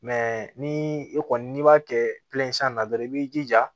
ni e kɔni n'i b'a kɛ na dɔrɔn i b'i jija